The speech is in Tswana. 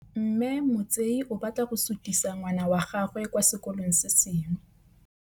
Mme Motsei o batla go sutisa ngwana wa gagwe kwa sekolong se sengwe.